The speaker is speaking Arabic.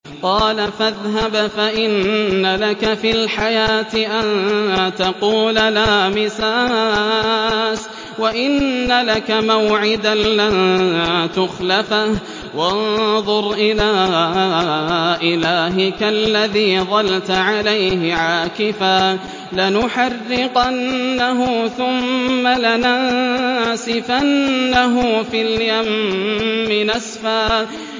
قَالَ فَاذْهَبْ فَإِنَّ لَكَ فِي الْحَيَاةِ أَن تَقُولَ لَا مِسَاسَ ۖ وَإِنَّ لَكَ مَوْعِدًا لَّن تُخْلَفَهُ ۖ وَانظُرْ إِلَىٰ إِلَٰهِكَ الَّذِي ظَلْتَ عَلَيْهِ عَاكِفًا ۖ لَّنُحَرِّقَنَّهُ ثُمَّ لَنَنسِفَنَّهُ فِي الْيَمِّ نَسْفًا